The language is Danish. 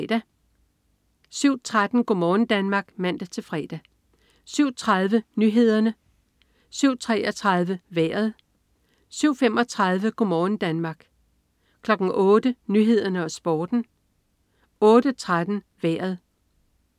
07.13 Go' morgen Danmark (man-fre) 07.30 Nyhederne (man-fre) 07.33 Vejret (man-fre) 07.35 Go' morgen Danmark (man-fre) 08.00 Nyhederne og Sporten (man-fre) 08.13 Vejret (man-fre)